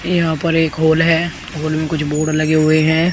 यहां पर एक हॉल है हॉल में कुछ बोर्ड लगे हुए हैं।